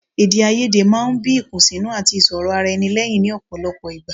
Èdèàìyedè máa ń bí ìkùnsínú àti ìṣòrọ̀ ara ẹni lẹ́yìn ní ọ̀pọ̀ ìgbà